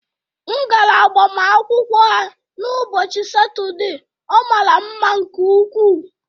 M gara agbamakwụkwọ ha n' ụbọchị Satọde, ọ mara mma nke ukwuu